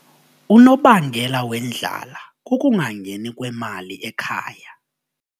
Unobangela wendlala kukungangeni kwemali ekhaya.